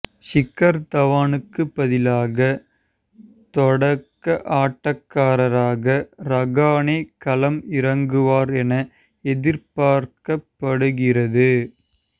ஷிகர் தவானுக்கு பதிலாக தொடக்க ஆட்டக்காரராக ராகனே களம் இறங்குவார் என எதிர்பார்க்கப்படுகிறது